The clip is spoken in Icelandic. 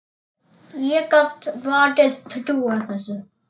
Ég gat vart trúað þessu.